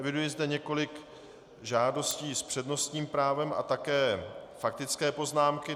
Eviduji zde několik žádostí s přednostním právem a také faktické poznámky.